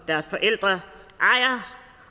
deres forældre